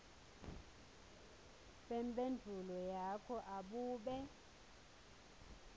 bemphendvulo yakho abube